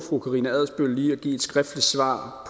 fru karina adsbøl lige at give et skriftligt svar